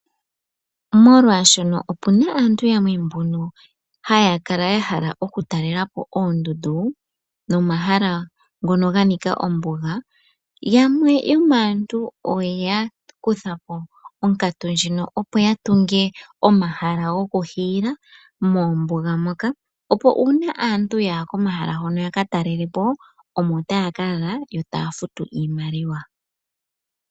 Molwaashono opuna aantu yamwe mbono haya kala yahala okutaalelapo oondundu nomahala ngono ganika omamanya, yamwe yomaantu oyakuthapo onkatu ndjino opo yatunge omahala gokuhiila moombuga moka, opo uuna aantu yaya komahala hono yakataalelepo omo taya ka lala yo taya futu iimaliwa.